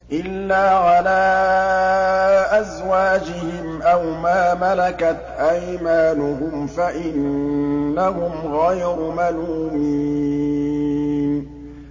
إِلَّا عَلَىٰ أَزْوَاجِهِمْ أَوْ مَا مَلَكَتْ أَيْمَانُهُمْ فَإِنَّهُمْ غَيْرُ مَلُومِينَ